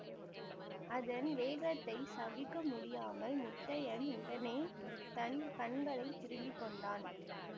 அதன் வேகத்தைச் சகிக்க முடியாமல் முத்தையன் உடனே தன் கண்களை திரும்பிக் கொண்டான்